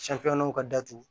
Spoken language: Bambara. Sanfɛlanw ka datugu